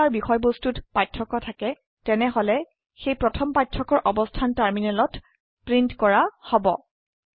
যদি তাৰ বিষয়বস্তুত পাৰ্থক্য থাকে তেনেহলে সেই প্ৰথম পাৰ্থক্যৰ অবস্থান টাৰমিনেলত প্ৰীন্ট কৰা হব